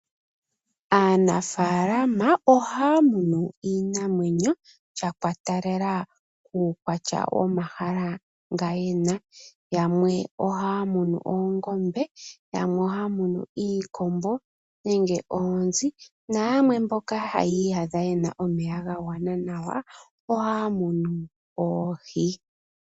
Aanafaalama ohaya munu iinamwenyo sha ikwatelela kuukwatya wo mahala ngoka yena. Yamwe ohaya munu oongombe, yamwe ohaya munu iikombo, yamwe ohaya munu iikombo, nenge oonzi, nayamwe mboka haya iyadha yena omeya ga gwana nawa, ohaya munu oohi.